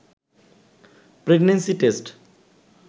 pregnancy test